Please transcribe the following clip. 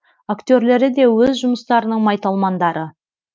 актерлері де өз жұмыстарының майталмандары